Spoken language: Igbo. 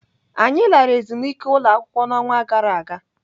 Anyị lara ezumike ụlọakwụkwọ n'ọnwa gara aga.